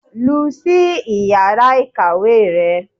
lú sí íyará ikáwe rẹ